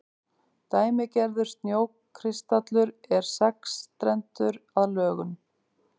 dæmigerður snjókristallur er sexstrendur að lögun